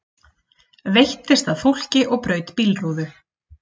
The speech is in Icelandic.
Veittist að fólki og braut bílrúðu